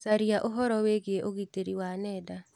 Caria ũhoro wĩgiĩ ũgitĩri wa nenda.